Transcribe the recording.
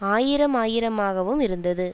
ஆயிரமாயிரமாகவுமிருந்தது